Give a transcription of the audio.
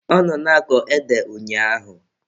Ọ nọ na-akọ ede ụnyaahụ